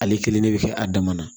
Ale kelen de bɛ kɛ a dama na